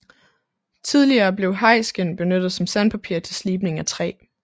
Tidligere blev hajskind benyttet som sandpapir til slibning af træ